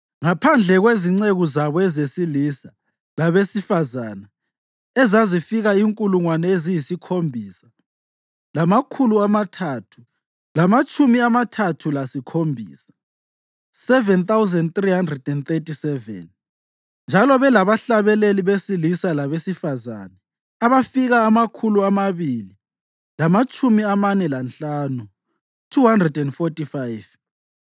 ngaphandle kwezinceku zabo ezesilisa labesifazane ezazifika inkulungwane eziyisikhombisa lamakhulu amathathu lamatshumi amathathu lasikhombisa (7,337); njalo belabahlabeleli besilisa labesifazane abafika amakhulu amabili lamatshumi amane lanhlanu (245).